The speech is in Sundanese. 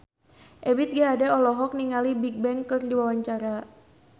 Ebith G. Ade olohok ningali Bigbang keur diwawancara